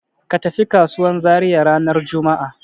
Ka tafi kasuwan Zariya ranar juma'a.